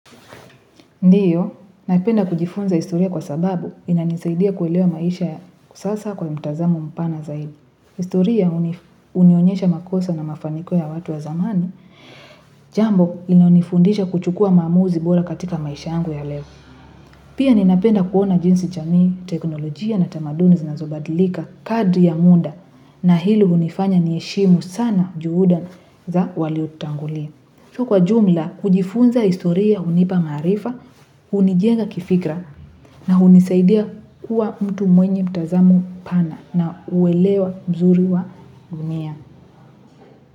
Ndiyo, napenda kujifunza historia kwa sababu inanisaidia kuelewa maisha ya usasa kwenye mtazamo mpana zaidi. Historia hunionyesha makosa na mafanikio ya watu wa zamani, jambo inayonifundisha kuchukua maamuzi bora katika maisha yangu ya leo. Pia ninapenda kuona jinsi jamii, teknolojia na tamaduni zinazobadilika, kadri ya muda na hili hunifanya niheshimu sana juhuda za waliotangulia. So kwa jumla, hujifunza historia hunipa maarifa, hunijenga kifikra na hunisaidia kuwa mtu mwenye mtazamo pana na uelewa mzuri wa dunia.